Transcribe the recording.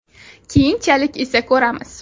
Keyinchalik esa ko‘ramiz.